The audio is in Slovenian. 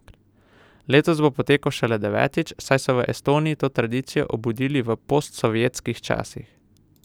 Letos bo potekal šele devetič, saj so v Estoniji to tradicijo obudili v postsovjetskih časih.